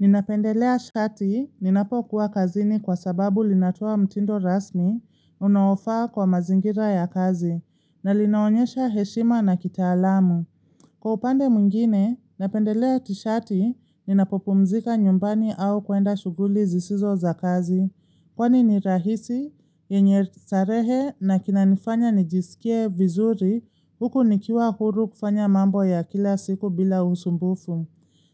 Ninapendelea shati, ninapokuwa kazini kwa sababu linatoa mtindo rasmi, unaofaa kwa mazingira ya kazi, na linaonyesha heshima na kita alamu. Kwa upande mungine, napendelea tishati, ninapopumzika nyumbani au kwenda shughuli zisizo za kazi. Kwani ni rahisi, yenye starehe, na kinanifanya nijisikie vizuri, huku nikiwa huru kufanya mambo ya kila siku bila usumbufu.